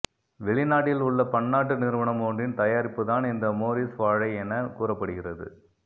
வெளிநாட்டிலுள்ள பன்னாட்டு நிறுவனம் ஒன்றின் தயாரிப்புதான் இந்த மோரிஸ்வாழை என கூறப்படுகிறது